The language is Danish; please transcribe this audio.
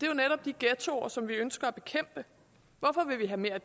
jo netop de ghettoer som vi ønsker at bekæmpe hvorfor vil vi have mere af